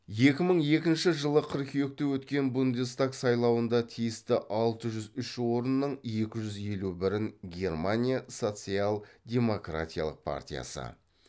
екі мың екінші жылғы қыркүйекте өткен бундестаг сайлауында тиісті алты жүз үш орынның екі жүз елу бірін германия социал демократиялық партиясы